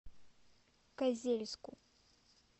козельску